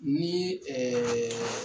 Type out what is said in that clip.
Ni ɛɛ